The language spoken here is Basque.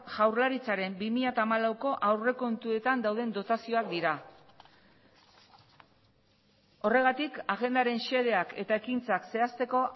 jaurlaritzaren bi mila hamalauko aurrekontuetan dauden dotazioak dira horregatik agendaren xedeak eta ekintzak zehazteko